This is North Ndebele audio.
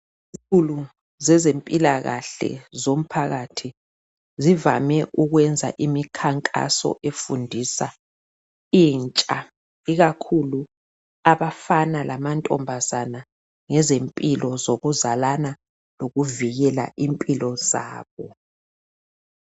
zezempilakahle zomphakathi zivame ukwenza imikhankaso efundisa intsha ikakhulu abafana lamantombazane ngezempilo zokuzalana lokuvikela impilo zabo